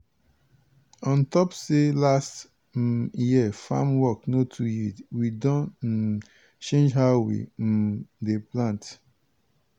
on top say last um year farm work no too yield we don um change how we um dey plant.